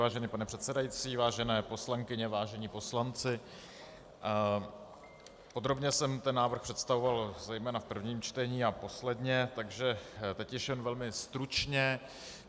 Vážený pane předsedající, vážené poslankyně, vážení poslanci, podrobně jsem ten návrh představoval zejména v prvním čtení a posledně, takže teď již jen velmi stručně.